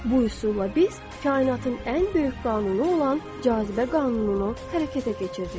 Bu üsulla biz kainatın ən böyük qanunu olan cazibə qanununu hərəkətə keçiririk.